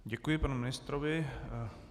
Děkuji panu ministrovi.